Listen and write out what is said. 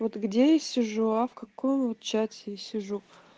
вот где я сижу а в каком чате и сижу